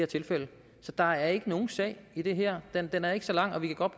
tilfælde så der er ikke nogen sag i det her den er ikke så lang vi kan godt